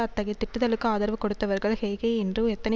அத்தகைய திட்டுதலுக்கு ஆதரவு கொடுத்தவர்கள் ஹே ஹே இன்று எத்தனை